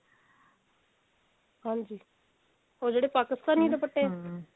ਹਾਂਜੀ ਉਹ ਜਿਹੜੇ ਪਾਕਿਸਤਾਨੀ ਦੁਪੱਟੇ